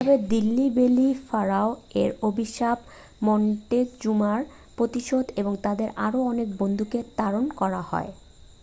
এভাবে Delhi belly pharaoh এর অভিশাপ মন্টেজুমার প্রতিশোধ এবং তাদের আরও অনেক বন্ধুকে তাড়ন করা হয়